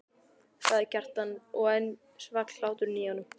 sagði Kjartan og enn svall hláturinn í honum.